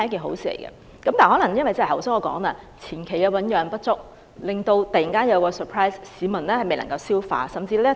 但是，正如我剛才所說，由於政策前期醞釀不足，突然有這樣一個 surprise， 市民未能消化。